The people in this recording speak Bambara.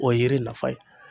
O ye yiri nafa ye.